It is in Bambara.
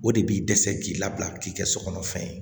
O de b'i dɛsɛ k'i labila k'i kɛ so kɔnɔ fɛn ye